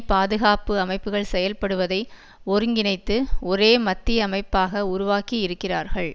பாதுகாப்பு அமைப்புகள் செயல்படுவதை ஒருங்கினைத்து ஒரே மத்திய அமைப்பாக உருவாக்கி இருக்கிறார்கள்